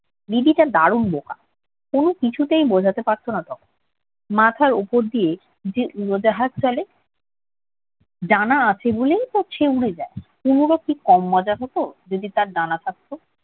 দিদিটা দারুণ বোকা, কোনো কিছুতেই বুঝাতে পারত না তখন। মাথার উপর দিয়ে যে উড়োজাহাজে চলে ডানা আছে বলেইতো সে উড়ে যায়। তনুর কি মজা হতো যদি তার ডানা থাকত।